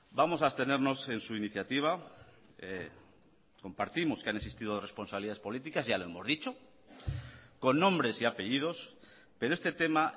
vamos a abstenernos en su iniciativa compartimos que han existido responsabilidades políticas ya lo hemos dicho con nombres y apellidos pero este tema